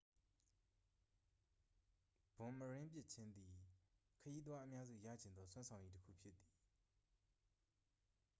ဘွန်မရင်းပစ်ခြင်းသည် ခရီးသွားအများစု ရချင်သော စွမ်းဆောင်ရည်တစ်ခုဖြစ်သည်